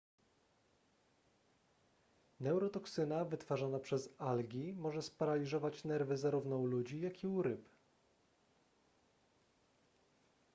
neurotoksyna wytwarzana przez algi może sparaliżować nerwy zarówno u ludzi jak i u ryb